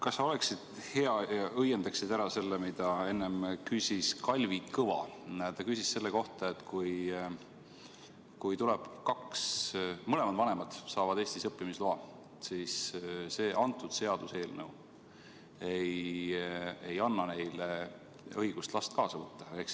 Kas sa oleksid nii hea ja õiendaksid ära selle, mida enne küsis Kalvi Kõva selle kohta, et kui mõlemad vanemad saavad Eestis õppimisloa, siis see seaduseelnõu ei anna neile õigust last kaasa võtta?